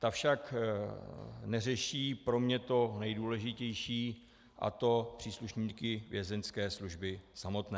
Ta však neřeší pro mě to nejdůležitější, a to příslušníky Vězeňské služby samotné.